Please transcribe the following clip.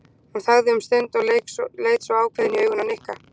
Hún þagði um stund og leit svo ákveðin í augun á Nikka.